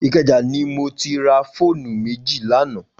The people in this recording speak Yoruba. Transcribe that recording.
Ikeja ni mó ti rà fónú méji lànã